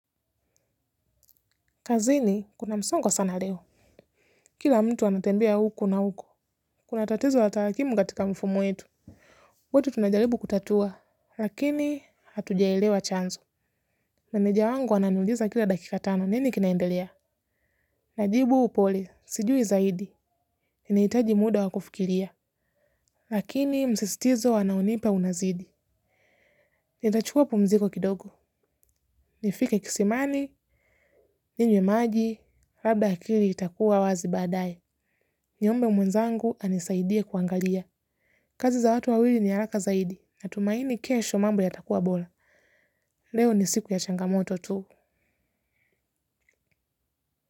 Kazini kuna msongo sana leo. Kila mtu wanatembea huko na huko. Kuna tatizo la tarakimu katika mfumo wetu. Wote tunajaribu kutatua, lakini hatujaelewa chanzo. Meneja wangu wananiuliza kila dakika tano, nini kinaendelea? Najibu upole, sijui zaidi. Inahitaji muda wa kufikiria. Lakini msisitizo anaonipa unazidi. Nitachukua pumziko kidogo. Nifike kisimani, ninywe maji, labda akili itakuwa wazi baadaye. Niombe mwenzangu anisaidie kuangalia. Kazi za watu wawili ni haraka zaidi na tumaini kesho mambo yatakua bora. Leo ni siku ya changamoto tu.